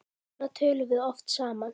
Svona töluðum við oft saman.